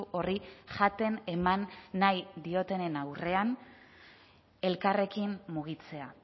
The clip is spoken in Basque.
horri jaten eman nahi diotenen aurrean elkarrekin mugitzea